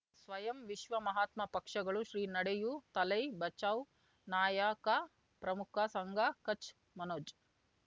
ಸ್ವಯಂ ವಿಶ್ವ ಮಹಾತ್ಮ ಪಕ್ಷಗಳು ಶ್ರೀ ನಡೆಯೂ ದಲೈ ಬಚೌ ನಾಯಕ ಪ್ರಮುಖ ಸಂಘ ಕಚ್ ಮನೋಜ್